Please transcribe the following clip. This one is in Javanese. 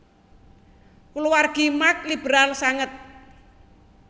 Kulawargi Marx liberal sanget